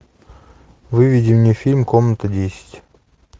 выведи мне фильм комната десять